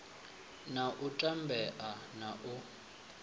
na u tambea na u